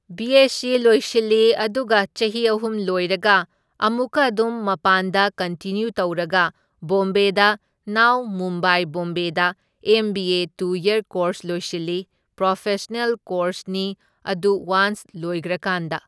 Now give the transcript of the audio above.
B SC ꯂꯣꯏꯁꯤꯜꯂꯤ ꯑꯗꯨꯒ ꯆꯍꯤ ꯑꯍꯨꯝ ꯂꯣꯏꯔꯒ ꯑꯃꯨꯛꯀ ꯑꯗꯨꯝ ꯃꯄꯥꯟꯗ ꯀꯟꯇꯤꯅ꯭ꯌꯨ ꯇꯧꯔꯒ ꯕꯣꯝꯕꯦꯗ ꯅꯥꯎ ꯃꯨꯝꯕꯥꯢ ꯕꯣꯝꯕꯦꯗ ꯑꯦꯝ ꯕꯤ ꯑꯦ ꯇꯨ ꯌꯔ ꯀꯣꯔꯁ ꯂꯣꯏꯁꯤꯜꯂꯤ, ꯄ꯭ꯔꯣꯐꯦꯁꯅꯦꯜ ꯀꯣꯔꯁꯅꯤ ꯑꯗꯨ ꯋꯥꯟꯁ ꯂꯣꯏꯒꯈ꯭ꯔꯀꯥꯟꯗ꯫